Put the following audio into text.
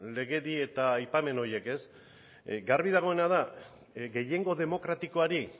legedi eta aipamen horiek ez garbi dagoena da gehiengo demokratikoari